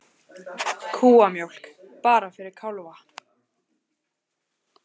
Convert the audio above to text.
Kúamjólk bara fyrir kálfa